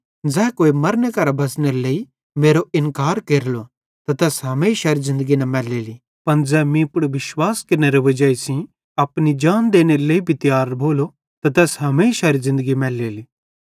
ज़ै कोई मरने करां बच़नेरे लेइ मेरो इन्कार केरेलो त तैन हमेशारी ज़िन्दगी न मैलेली पन ज़ै मीं पुड़ विश्वास केरनेरे वजाई सेइं अपने जान देनेरे लेइ भी तियार भोलो त तैस हमेशारी ज़िन्दगी मैलेली